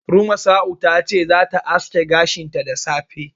Rumasa'u ta ce zata aske gashinta da safe.